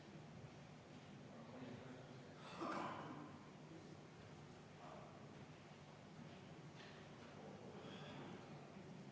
Head kolleegid, EKRE fraktsiooni palutud vaheaeg on lõppenud.